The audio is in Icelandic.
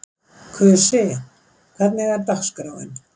Kusi, hvernig er dagskráin?